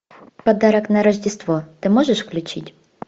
подарок на рождество ты можешь включить